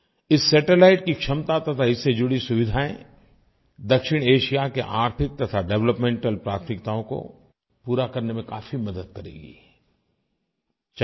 इस सैटेलाइट की क्षमता तथा इससे जुड़ी सुविधायें दक्षिणएशिया के आर्थिक तथा डेवलपमेंटल प्राथमिकताओं को पूरा करने में काफ़ी मदद करेगीं